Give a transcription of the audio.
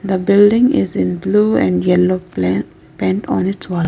the building is in blue and yellow pla paint on its wall.